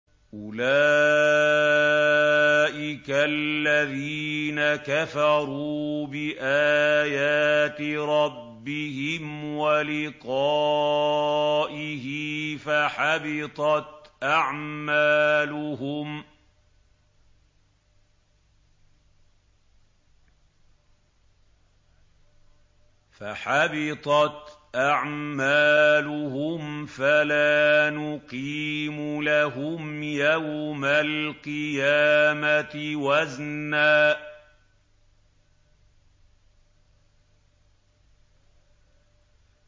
أُولَٰئِكَ الَّذِينَ كَفَرُوا بِآيَاتِ رَبِّهِمْ وَلِقَائِهِ فَحَبِطَتْ أَعْمَالُهُمْ فَلَا نُقِيمُ لَهُمْ يَوْمَ الْقِيَامَةِ وَزْنًا